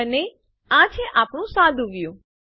અને આ છે આપણું સાદું વ્યું